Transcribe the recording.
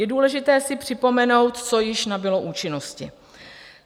Je důležité si připomenout, co již nabylo účinnosti.